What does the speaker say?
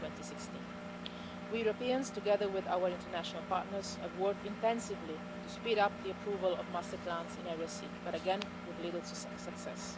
2016. We Europeans, together with our international partners, have worked intensively to speed up the approval of master plans in Area C, but again, with little success.